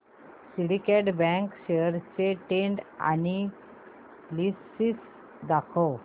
Syndicate Bank shares चे trend analysis दाखव